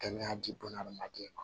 Kɛnɛya di bunahadamaden ma